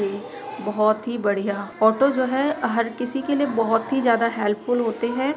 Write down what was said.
बहुत ही बढ़िया ऑटो जो है हर किसी के लिए बहुत ही ज़्यादा हेल्पफुल होते है।